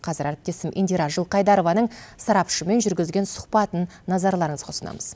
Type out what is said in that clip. қазір әріптесім индира жылқайдарованың сарапшымен жүргізген сұхбатын назарларыңызға ұсынамыз